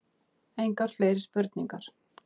Engar fleiri spurningar.